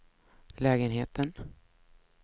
lägenheten